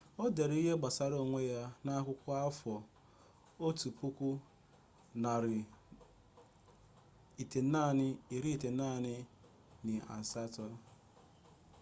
ọ dere ihe gbasara onwe ya na akwụkwọ afọ 1998